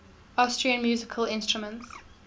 austrian musical instruments